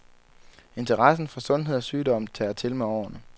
Interessen for sundhed og sygdom tager til med årene.